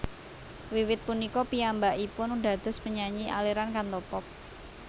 Wiwit punika piyambakipun dados penyanyi aliran Cantopop